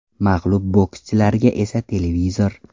Mag‘lub bokschilarga esa televizor.